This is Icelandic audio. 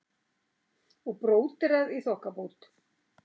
Og bróderað í þokkabót.